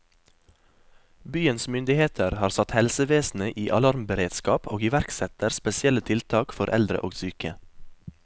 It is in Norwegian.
Byens myndigheter har satt helsevesenet i alarmberedskap, og iverksetter spesielle tiltak for eldre og syke.